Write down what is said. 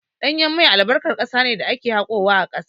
Ɗanyen mai albarkan ƙasa ne da ake haƙowa a ƙasa.